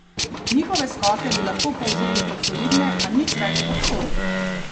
Njihove skoke bi lahko povzeli kot solidne, a nič več kot to.